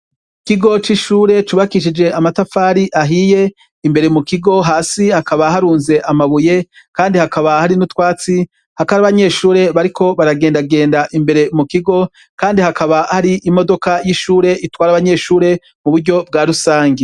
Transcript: Ikigo c'ishure cubakishije amatafari ahiye imbere mu kigo hasi hakaba harunze amabuye, kandi hakaba hari n'utwatsi hakari abanyeshure bariko baragendagenda imbere mu kigo, kandi hakaba hari imodoka y'ishure itwari abanyeshure mu buryo bwa rusange.